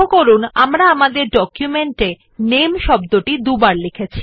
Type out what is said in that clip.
পরিবর্তে সমস্ত আবার একই টেক্সট টাইপ আমরা কপি এবং লেখক মধ্যে পাস্তে অপশন ব্যবহার করতে পারেন